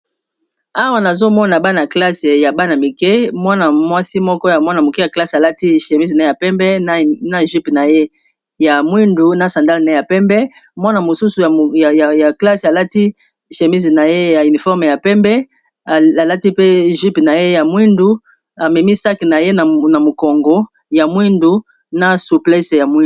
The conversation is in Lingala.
Awa nazomona bana-classe ya bana-mike mwana mwasi moko ya mwana-moke ya classe alati chémise ne ya pembe na jype na yeya mwindu na sandal ne ya pembe mwana mosusu ya klasse alati chémise na ye ya uniforme ya pembe alati pe jype na ye ya mwindu amemisaki na ye na mokongo ya mwindu na suplese ya muindi